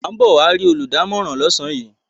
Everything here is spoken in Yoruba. A ń bọ̀ wá rí olùdámọ̀ràn lọ́sàn-án yìí.